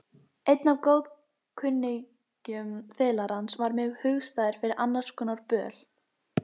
Einn af góðkunningjum fiðlarans varð mér hugstæður fyrir annarskonar böl.